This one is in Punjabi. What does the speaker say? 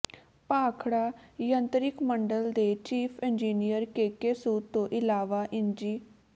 ਭਾਖੜਾ ਯੰਤਰਿਕ ਮੰਡਲ ਦੇ ਚੀਫ ਇੰਜੀਨੀਅਰ ਕੇਕੇ ਸੂਦ ਤੋਂ ਇਲਾਵਾ ਇੰਜੀ